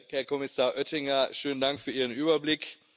Herr Kommissar Oettinger, schönen Dank für Ihren Überblick.